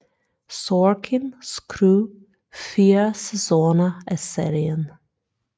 Sorkin skrev fire sæsoner af serien